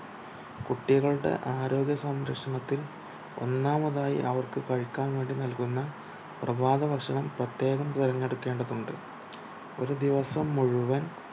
കുട്ടികളുടെ ആരോഗ്യ സംരക്ഷണത്തിൽ ഒന്നാമതായി അവർക്കു കഴിക്കാൻ വേണ്ടി നൽകുന്ന പ്രഭാത ഭക്ഷണം പ്രത്യേകം തിരഞ്ഞെടുക്കേണ്ടതുണ്ട് ഒരു ദിവസം മുഴുവൻ